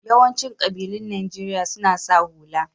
Yawancin ƙabilun Najeriya suna sa hula.